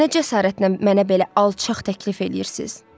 Nə cəsarətlə mənə belə alçaq təklif eləyirsiz?